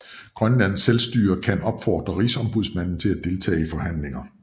Grønlands Selvstyre kan opfordre Rigsombudsmanden til at deltage i forhandlinger